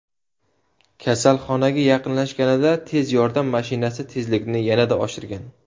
Kasalxonaga yaqinlashganida tez yordam mashinasi tezlikni yanada oshirgan.